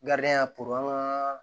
ya ka